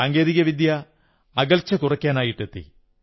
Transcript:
സാങ്കേതികവിദ്യ അകൽച്ച കുറയ്ക്കാനായിട്ടെത്തി